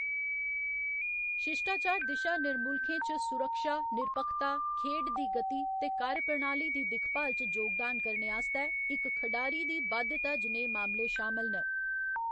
शिश्टाचार दिशा निर्मुल्खें च सुरक्षा, निरपक्खता, खेढ दी गति ते कार्यप्रणाली दी दिक्खभाल च जोगदान करने आस्तै इक खढारी दी बाध्यता जनेह् मामले शामल न।